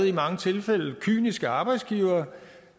i mange tilfælde kyniske arbejdsgivere